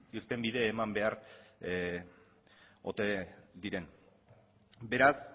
irtenbide eman behar ote diren beraz